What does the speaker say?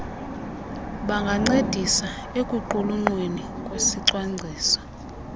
bangancedisa ekuqulunqweni kwesicwangciso